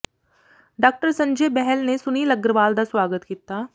doctor Sanjay Behl ਨੇ ਸੁਨੀਲ ਅਗਰਵਾਲ ਦਾ ਸਵਾਗਤ ਕੀਤਾ